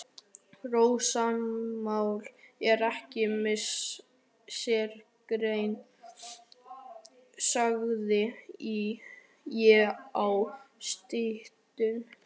Rósamál er ekki mín sérgrein, sagði ég í styttingi.